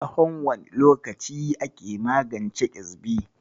Tsahon wane lokaci ake magance ƙyezbi?